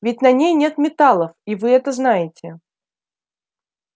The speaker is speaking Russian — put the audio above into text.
ведь на ней нет металлов и вы это знаете